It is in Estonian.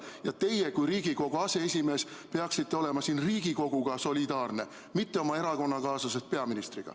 Ja teie kui Riigikogu aseesimees peaksite olema siin solidaarne Riigikoguga, mitte oma erakonnakaaslasest peaministriga.